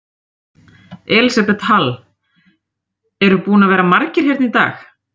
Elísabet Hall: Eru búnir að vera margir hérna í dag?